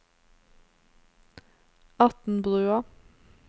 Atnbrua